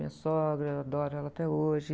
Minha sogra, adoro ela até hoje.